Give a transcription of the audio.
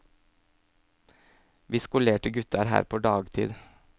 Vi skolerte gutta er her på dagtid.